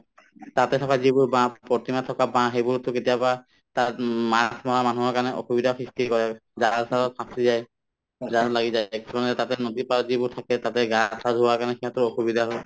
তাতে চাবা যিবোৰ বাহ প্ৰতিমাত থকা বাহ সেইবোৰতো কেতিয়াবা তাত উম মাছ মৰা মানুহৰ কাৰণে অসুবিধাৰ সৃষ্টি কৰে জাল-চালত ফাঁচী যায় জালত লাগি যায় কিছুমানে তাতে নদীৰ পাৰত যিবোৰ থাকে তাতে গা-চা ধুৱাৰ কাৰণে সিহঁতৰ অসুবিধা হয়